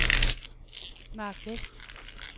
Marc Westh